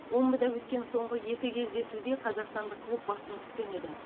омбыда өткен соңғы екі кездесуде қазақстандық клуб басым түскен еді